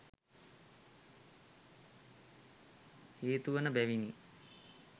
හේතුවන බැවිනි.